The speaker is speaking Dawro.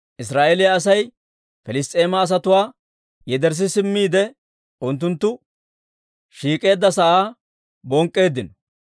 Israa'eeliyaa Asay Piliss's'eema asatuwaa yederssi simmiide, unttunttu shiik'eedda sa'aa bonk'k'eeddino.